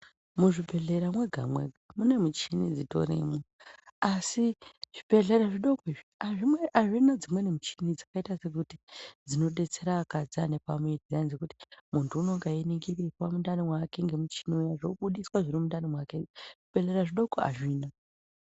Muzvibhedlera mwega mwega, munemichini dzitorimo asi zvibhedleya zvidoku izvi, azvina dzimweni michini dzakaita sekuti dzino kudetsera akadzi anepamuiri dziya dzekuti muntu anege eringirwa pamuntani wake nemichini ,zvichibuditswa zvirimundani make zvibhedlera zvidoko hazvina.